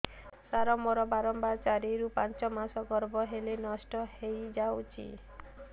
ସାର ମୋର ବାରମ୍ବାର ଚାରି ରୁ ପାଞ୍ଚ ମାସ ଗର୍ଭ ହେଲେ ନଷ୍ଟ ହଇଯାଉଛି